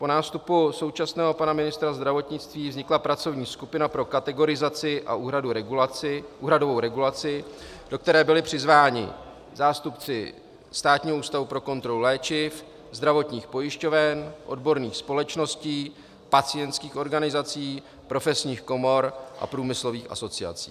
Po nástupu současného pana ministra zdravotnictví vznikla pracovní skupina pro kategorizaci a úhradovou regulaci, do které byli přizváni zástupci Státního ústavu pro kontrolu léčiv, zdravotních pojišťoven, odborných společností, pacientských organizací, profesních komor a průmyslových asociací.